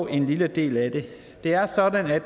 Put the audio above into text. en lille del af den det er sådan at